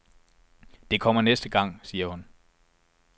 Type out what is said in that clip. Det kommer næste gang, siger hun.